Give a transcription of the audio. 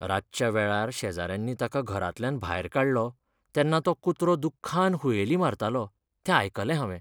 रातच्या वेळार शेजाऱ्यांनी ताका घरांतल्यान भायर काडलो तेन्ना तो कुत्रो दुख्खान हुयेली मारतालो तें आयकलें हांवें.